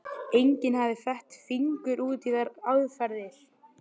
Enginn hafði fett fingur út í þær aðferðir.